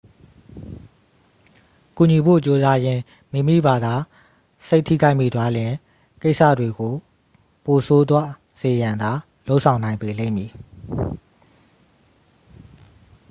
ကူညီဖို့ကြိုးစားရင်း မိမိဘာသာစိတ်ထိခိုက်မိသွားလျှင် ကိစ္စတွေကို ပိုဆိုးသွားစေရန်သာ လုပ်ဆောင်နိုင်ပေလိမ့်မည်